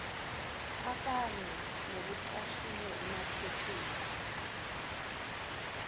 akanye nokucashunwe emaphepheni